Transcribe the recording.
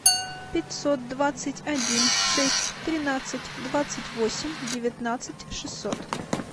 пятьсот двадцать один шесть тринадцать двадцать восемь девятнадцать шестьсот